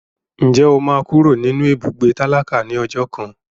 Ǹjẹ́ o máa kúrò nínú ibùgbé tálákà ní ọjọ́ kan?